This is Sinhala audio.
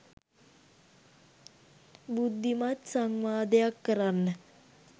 බුද්ධිමත් සංවාදයක් කරන්න